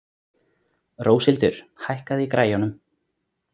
Róshildur, hækkaðu í græjunum.